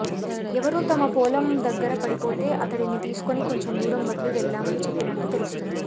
ఎవరో తమ పోలం దగ్గర పడిపోతే అతడిని తీసుకుని కోంచెం దూరం వదిలి వెళ్లామని చెప్పినట్లు తెలిసింది